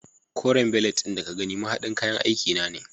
Koren belet ɗin da ka gani mahaɗin kayan aiki na ne.